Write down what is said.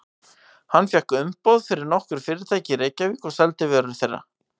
Hann fékk umboð fyrir nokkur fyrirtæki í Reykjavík og seldi vörur þeirra.